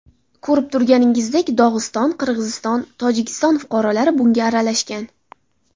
Ko‘rib turganingizdek, Dog‘iston, Qirg‘iziston, Tojikiston fuqarolari bunga aralashgan.